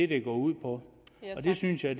det går ud på og det synes jeg